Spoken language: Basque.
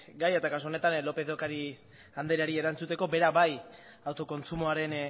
gaia eta kasu honetan lópez de ocariz andreari erantzuteko bera bai autokontsumoaren